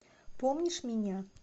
помнишь меня